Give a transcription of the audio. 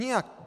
Nijak.